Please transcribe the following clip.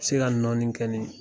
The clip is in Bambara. Se ka nɔɔni kɛ nin